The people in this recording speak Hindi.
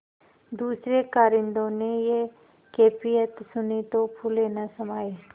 दूसरें कारिंदों ने यह कैफियत सुनी तो फूले न समाये